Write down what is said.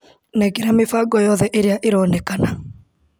Nengera mĩbango yothe ĩrĩa ĩronekana .